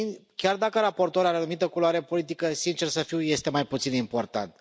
Chiar dacă raportorul are o anumită culoare politică, sincer să fiu, este mai puțin important.